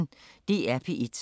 DR P1